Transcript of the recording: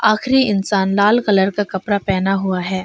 आखिरी इंसान लाल कलर का कपड़ा पहना हुआ है।